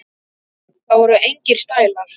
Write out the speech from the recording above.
Það voru engir stælar.